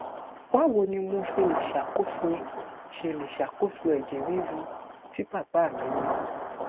báwo ni mo ṣe lè ṣàkóso ṣe lè ṣàkóso ẹjẹ riru tí bàbá mi ní